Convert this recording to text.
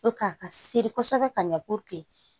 a ka seri kosɛbɛ ka ɲɛ